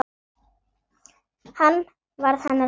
Hann varð hennar lamb.